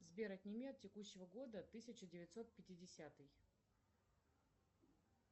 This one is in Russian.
сбер отними от текущего года тысяча девятьсот пятидесятый